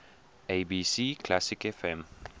abc classic fm